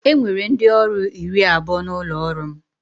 E nwere ndị ọrụ iri abụọ n'ụlọ ọrụ m